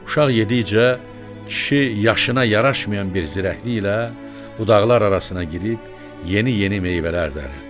Uşaq yedikcə, kişi yaşına yaraşmayan bir zirəkliklə budaqlar arasına girib yeni-yeni meyvələr dəriridi.